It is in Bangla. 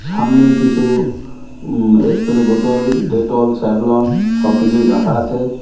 সামনে কিছু উম এসপ্রে বোতল ডেটল স্যাভলন সব কিছুই রাখা আছে।